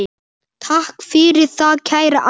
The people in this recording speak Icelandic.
Takk fyrir það, kæra amma.